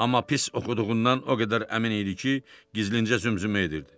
Amma pis oxuduğundan o qədər əmin idi ki, gizlincə zümzümə edirdi.